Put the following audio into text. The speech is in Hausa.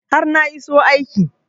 har na iso aiki